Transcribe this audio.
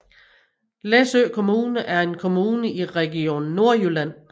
Læsø Kommune er en kommune i Region Nordjylland